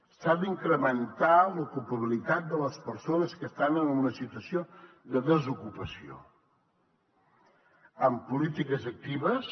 s’ha d’incrementar l’ocupabilitat de les persones que estan en una situació de desocupació amb polítiques actives